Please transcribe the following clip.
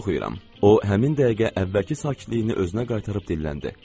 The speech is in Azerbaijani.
O həmin dəqiqə əvvəlki sakitliyini özünə qaytarıb dilləndi.